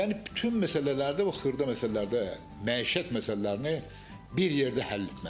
Yəni bütün məsələlərdə, bu xırda məsələlərdə məişət məsələlərini bir yerdə həll etməlidirlər.